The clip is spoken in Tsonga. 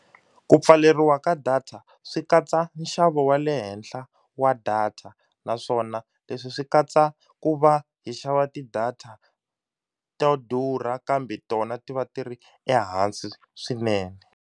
Ku pfaleriwa ka data swi katsa nxavo wa le henhla wa data naswona leswi swi katsa ku va hi xava ti data to durha kambe tona ti va ti ri ehansi swinene.